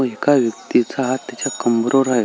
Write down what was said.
व एका व्यक्तीचा हात त्याच्या कंबरवर आहे.